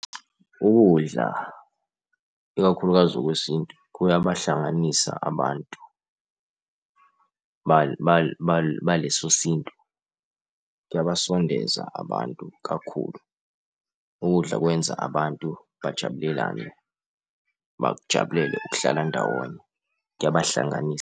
Ukudla ikakhulukazi okwesintu kuyabahlanganisa abantu baleso sintu. Kuyabasondeza abantu kakhulu, ukudla kwenza abantu bajabulelane, bakujabulele ukuhlala ndawonye, kuyabahlanganisa.